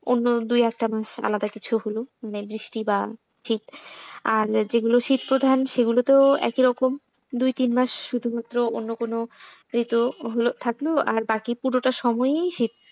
অন্য দুই একটা মাস আলাদা কিছু হলো বৃষ্টি বা শীতআর যেগুলো শীত প্রধান সেগুলো তো একই রকম দুই তিন মাস শুধুমাত্র অন্য কোন ঋতু হল থাকলো আর বাকি পুরোটা সময়ই শীত।